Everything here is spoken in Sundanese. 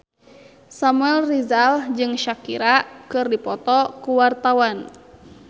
Samuel Rizal jeung Shakira keur dipoto ku wartawan